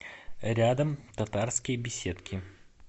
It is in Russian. рядом татарские беседки